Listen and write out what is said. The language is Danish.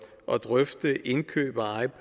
at drøfte indkøb